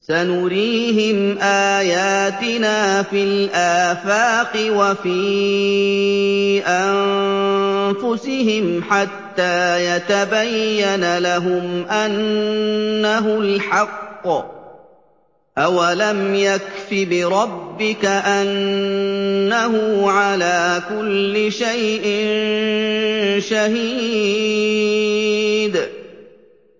سَنُرِيهِمْ آيَاتِنَا فِي الْآفَاقِ وَفِي أَنفُسِهِمْ حَتَّىٰ يَتَبَيَّنَ لَهُمْ أَنَّهُ الْحَقُّ ۗ أَوَلَمْ يَكْفِ بِرَبِّكَ أَنَّهُ عَلَىٰ كُلِّ شَيْءٍ شَهِيدٌ